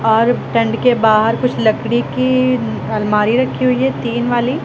और टेंट के बाहर कुछ लकड़ी की अलमारी रखी हुई है टीन वाली--